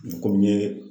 Komi n ye